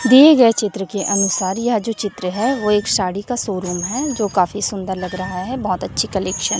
दिए गए चित्र के अनुसार यह जो चित्र है वो एक साड़ी का शोरूम है जो काफी सुंदर लग रहा है बहोत अच्छी कलेक्शन --